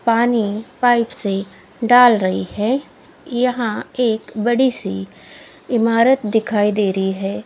पानी पाइप से डाल रही है यहां एक बड़ी सी इमारत दिखाई दे रही है।